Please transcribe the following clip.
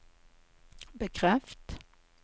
bekreft